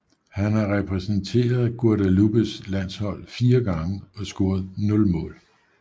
Han har repræsenteret Guadeloupes landshold 4 gange og scoret 0 mål